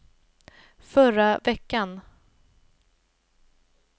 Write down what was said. förra veckan